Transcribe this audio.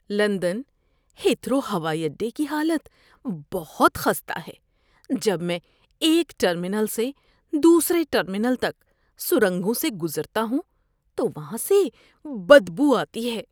London Heathrow ہوائی اڈے کی حالت بہت خستہ ہے۔ جب میں ایک ٹرمینل سے دوسرے ٹرمینل تک سرنگوں سے گزرتا ہوں تو وہاں سے بدبو آتی ہے۔